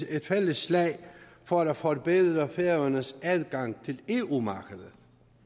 et fælles slag for at forbedre færøernes adgang til eu markedet